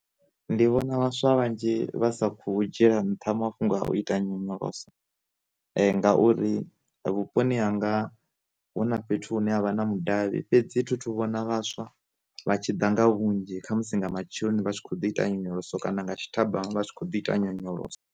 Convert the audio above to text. Ndi vhona vhaswa vhanzhi vhasa kho dzhiela nṱha mafhungo a u ita nyonyoloso, ngauri vhuponi hanga huna fhethu hune havha na mudavhi fhedzi thi thu vhona vhaswa vha tshi ḓa nga vhunzhi kha musi nga matsheloni vha tshi kho ḓi ita nyonyoloso kana nga tshitamba vha tshi kho ḓi ita nyonyoloso.